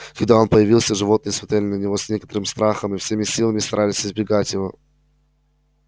когда он появился животные смотрели на него с некоторым страхом и всеми силами старались избегать его